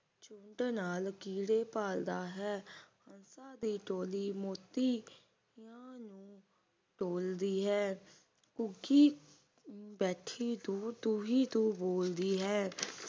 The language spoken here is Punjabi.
ਸੁੰਢ ਨਾਲ ਕੀੜੇ ਭਾਲਦਾ ਹੈ ਹੰਸਾਂ ਦੀ ਟੋਲੀ ਮੋਤੀ ਨੂੰ ਟੋਲਦੀ ਹੈ ਘੁੱਗੀ ਬੈਠੀ ਦੂਰ ਤੂੰ ਹੀ ਤੂੰ ਤੂੰ ਬੋਲਦੀ ਹੈ